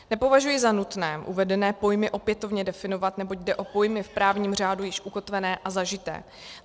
Nepovažuji za nutné uvedené pojmy opětovně definovat, neboť jde o pojmy v právním řádu již ukotvené a zažité.